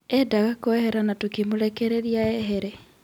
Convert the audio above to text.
Endaga kũehera na tũkĩmũrekereria ehere.